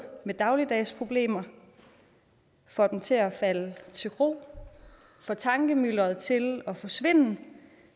med dagligdags problemer får dem til at falde til ro får tankemylderet til at forsvinde